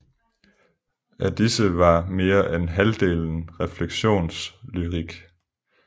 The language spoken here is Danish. Af disse var mere end halvdelen refleksionslyrik